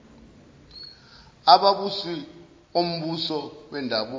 ababusi ombusi wendabuko